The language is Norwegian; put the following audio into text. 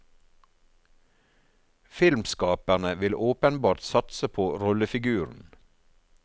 Filmskaperne vil åpenbart satse på rollefiguren.